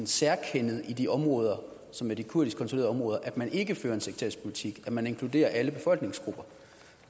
særkendet i de områder som er de kurdisk kontrollerede områder at man ikke fører en sekterisk politik men at man inkluderer alle befolkningsgrupper